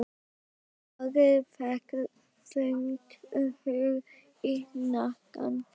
Ari fékk þungt högg í hnakkann.